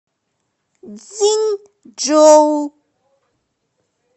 цзиньчжоу